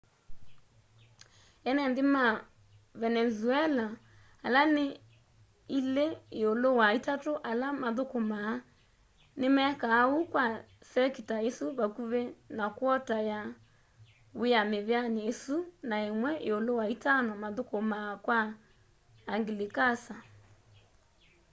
ene nthi ma venenzuela ala ni ilí íúlú wa itatu ala mathukumaa nimekaa úu kwa sekita isu vakuvi na kwota ya wía miveani isu na imwe íúlú wa itano mathukumaa kwa anglikasa